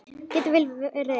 Get vel verið ein.